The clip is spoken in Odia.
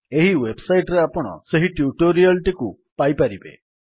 ଏହି ୱେବ୍ ସାଇଟ୍ ରେ ଆପଣ ସେହି ଟ୍ୟୁଟୋରିଆଲ୍ ଟିକୁ ପାଇପାରିବେ